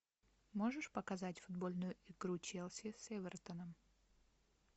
можешь показать футбольную игру челси с эвертоном